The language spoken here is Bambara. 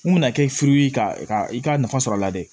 Mun bɛna kɛ furu ye ka i ka nafa sɔrɔ a la dɛ